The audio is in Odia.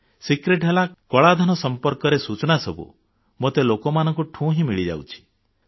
ଗୁପ୍ତ ଓ ଭିତିରି କଥା ହେଲା କଳାଧନ ସମ୍ପର୍କେରେ ସୂଚନା ସବୁ ମୋତେ ଲୋକମାନଙ୍କଠୁ ହିଁ ମିଳିଯାଉଛି